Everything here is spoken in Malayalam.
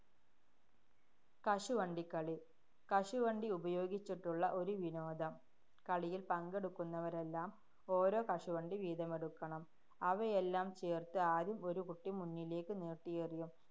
കശുവണ്ടി കളി. കശുവണ്ടി ഉപയോഗിച്ചുള്ള ഒരു വിനോദം. കളിയില്‍ പങ്കെടുക്കുന്നവരെല്ലാം ഓരോ കശുവണ്ടി വീതമെടുക്കണം. അവയെല്ലാം ചേര്‍ത്ത് ആദ്യം ഒരു കുട്ടി മുന്നിലേക്കു നീട്ടിയെറിയും